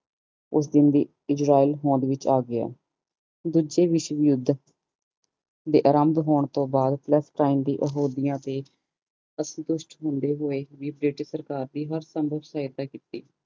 ਉਸ ਦਿਨ ਦੀ ਆ ਗਯਾ ਦੂਜੀ ਵਿਸ਼ਵ ਯੁੱਧ ਦੇ ਅਰਬ ਹੋਣ ਤੋਂ ਬਾਦ ਦੀ ਅਹੁਦਿਆਂ ਤੇ ਅਸੰਤੁਸ਼ ਹੁੰਦੇ ਹੂਏ ਵੀ ਬ੍ਰਿਟਿਸ਼ ਸਹਾਇਤਾ ਕੀਤੀ